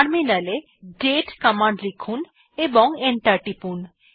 টার্মিনালএ দাতে কমান্ড লিখুন এবং এন্টার টিপুন